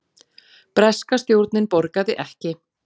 Breska stjórnin borgaði ekki